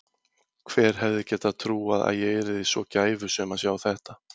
Hver hefði getað trúað að ég yrði svo gæfusöm að sjá þetta.